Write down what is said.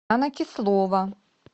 анна кислова